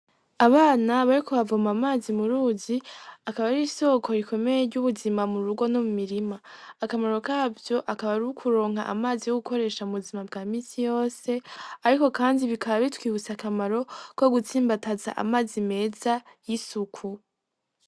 Abana bariko bavoma amazi muruzi, akaba ari isoko rikomeye ry'umuzima murugo no mumirima. Akamaro kavyo akaba ari ukuronka amazi yo gukoresha mubuzima bwa misi yose, ariko kandi bikaba bitwibutsa akamaro ko gutsimbataza amazi meza y'isuku.